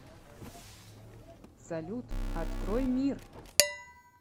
салют открой мир